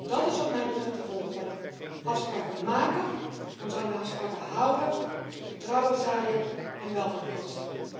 Dat is wat mij betreft de volgorde afspraken maken, ons aan de afspraken houden, vertrouwen zaaien en welvaart oogsten.